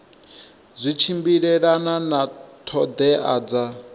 zwi tshimbilelana na ṱhoḓea dza